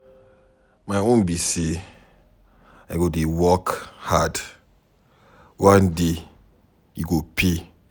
My own be say I go dey work hard, one day e go pay.